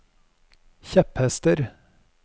kjepphester